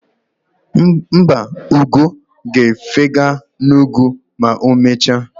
Mba, ugo ga-efega n'ugwu ma emechaa.